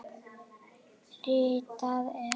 Ritað er